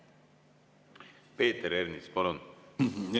Peeter Ernits, palun!